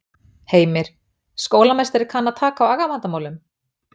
Heimir: Skólameistari kann að taka á agavandamálum?